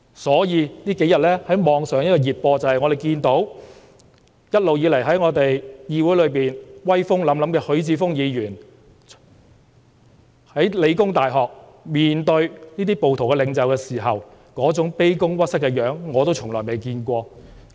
所以，我們近日從網上熱播看到，在議會內一直威風凜凜的許智峯議員在香港理工大學面對這些暴徒領袖時，那種卑躬屈膝的樣子，是我是從未見過的。